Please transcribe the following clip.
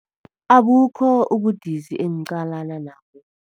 Abukho ubudisi engiqalana nabo.